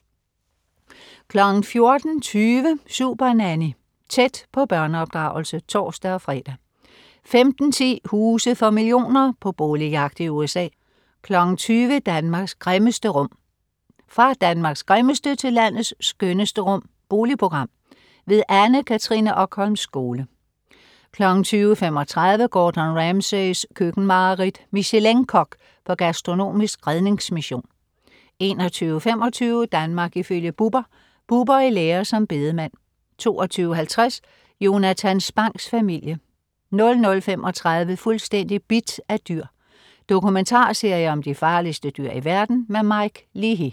14.20 Supernanny. Tæt på børneopdragelse (tors-fre) 15.10 Huse for millioner. På boligjagt i USA 20.00 Danmarks grimmeste rum. Fra Danmarks grimmeste til landets skønneste rum! Boligprogram. Anne Katrine Okholm Skole 20.35 Gordon Ramsays køkkenmareridt. Michelin-kok på gastronomisk redningsmission 21.25 Danmark ifølge Bubber. Bubber i lære som bedemand 22.50 Jonatan Spangs Familie 00.35 Fuldstændig bidt af dyr. Dokumentarserie om de farligste dyr i verden. Mike Leahy